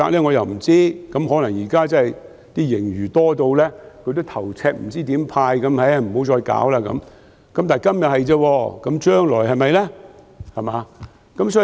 我又不知道，可能現在的盈餘多得他很頭痛，不知如何派發，所以不再理會這問題。